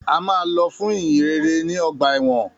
A máa lọ fún ìhìnrere ní ọgbà ẹ̀wọ̀n.